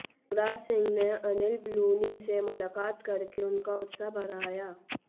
युवराज सिंह ने अनिल बलूनी से मुलाकात करके उनका उत्साह बढ़ाया